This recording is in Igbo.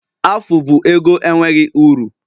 Afụ bụ ego enweghị uru